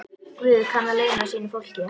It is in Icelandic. Guð kann að launa sínu fólki.